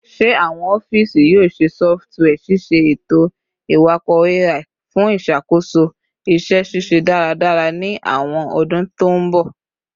Ṣe awọn ọfiisi yoo ṣe sọfitiwia ṣiṣe eto-iwakọ AI fun iṣakoso iṣẹ ṣiṣe daradara ni awọn ọdun to n bọ?